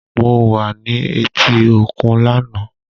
Mo wa ni eti okun lana.